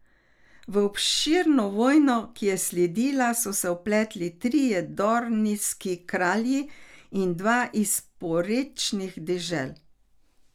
V obširno vojno, ki je sledila, so se vpletli trije dornijski kralji in dva iz porečnih dežel.